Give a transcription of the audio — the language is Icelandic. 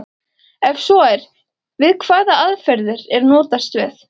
Ef svo er, við hvaða aðferðir er notast við?